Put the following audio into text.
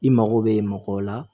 I mago bɛ mɔgɔw la